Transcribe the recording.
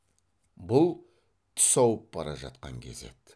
бұл түс ауып бара жатқан кез еді